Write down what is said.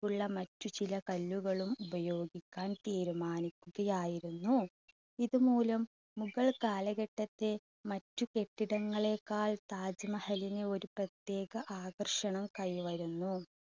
ഉള്ള മറ്റ് ചില കല്ലുകളും ഉപയോഗിക്കാൻ തീരുമാനിക്കുക ആയിരുന്നു. ഇത് മൂലം മുഗൾ കാലഘട്ടത്തെ മറ്റു കെട്ടിടങ്ങളെകാൾ താജ് മഹലിന് ഒരു പ്രത്യേക ആകർഷണം കൈവരുന്നു.